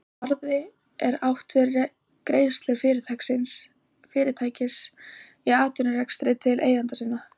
Með arði er átt við greiðslur fyrirtækis í atvinnurekstri til eigenda sinna.